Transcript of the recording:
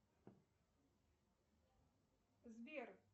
сбер